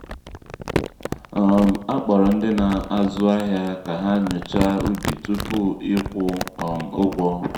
um a kpọrọ ndị na-azụ́ ahịa ka ha nyochaa ubi tupu ịkwụ um ụgwọ.